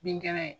Bin kɛnɛ